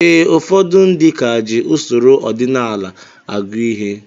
Ee, ụfọdụ ndị ka ji usoro ọdịnala agụ ihe